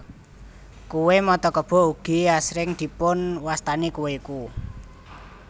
Kue mata kebo ugi asring dipun wastani kue ku